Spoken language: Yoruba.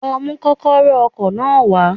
Lo mú kókóró ọkò náà wá